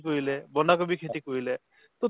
কৰিলে, বন্ধা কবি খেতি কৰিলে তʼ